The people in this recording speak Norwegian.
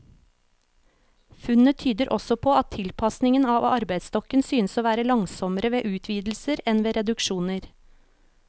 Funnene tyder også på at tilpasningen av arbeidsstokken synes å være langsommere ved utvidelser enn ved reduksjoner.